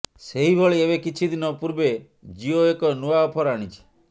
ସେହିଭଳି ଏବେ କିଛି ଦିନ ପୂର୍ବେ ଜିଓ ଏକ ନୂଆ ଅଫର ଆଣିଛି